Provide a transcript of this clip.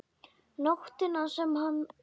Nóttina sem hann dó?